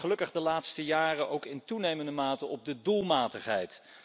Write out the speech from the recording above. Maar gelukkig de laatste jaren ook in toenemende mate op de doelmatigheid.